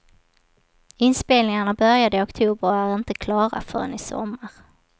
Inspelningarna började i oktober och är inte klara förrän i sommar.